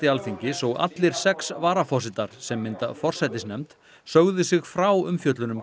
Alþingis og allir sex varaforsetar sem mynda forsætisnefnd sögðu sig frá umfjöllun um